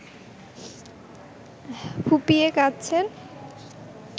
ফুঁপিয়ে কাঁদছেন